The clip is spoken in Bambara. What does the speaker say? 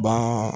Ba